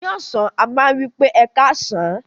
Ni ọsan, a ma wipe "Ẹkasan".